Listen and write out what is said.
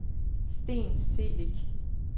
Steen Celik